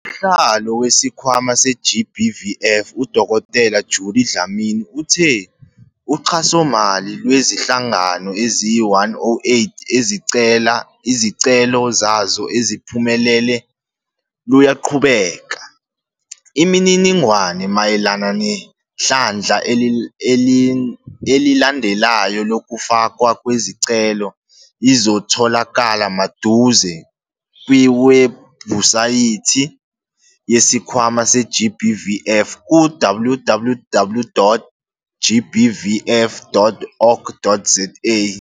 Usihlalo weSikhwama se-GBVF, uDkt Judy Dlamini, uthe uxhasomali lwezinhlangano eziyi-108 izicelo zazo eziphumelele luyaqhubeka. Imininingwane mayelana nehlandla elilandelayo lokufakwa kwezicelo izotholakala maduze kwiwebhusayithi yeSikhwama se-GBVF ku- www.gbvf.org.za